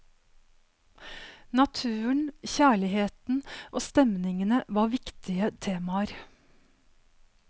Naturen, kjærligheten og stemningene var viktige temaer.